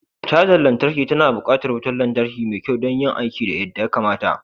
Cajar lantarki tana buƙatar wutar lantarki mai kyau don yin aiki yadda ya kamata.